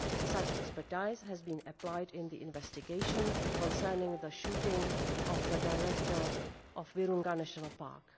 Such expertise has been applied in the investigation into the shooting of the Director of Virunga National Park.